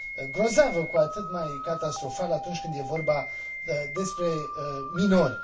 grozavă, cu atât mai catastrofală atunci când e vorba despre minori.